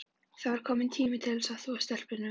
Þá var kominn tími til að þvo stelpunum.